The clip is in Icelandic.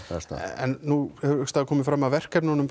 en nú hefur komið fram að verkefnum